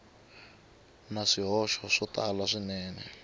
na swihoxo swo tala swinene